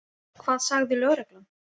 Hvað sagði lögreglan?